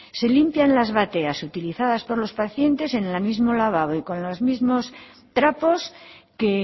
se limpian las bateas utilizadas por los pacientes en el mismo lavabo y con los mismos trapos que